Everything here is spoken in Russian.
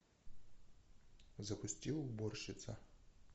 запусти уборщица